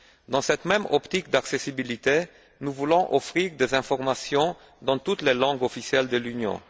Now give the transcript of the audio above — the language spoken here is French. Dans cette même optique d'accessibilité, nous voulons offrir des informations dans toutes les langues officielles de l'Union.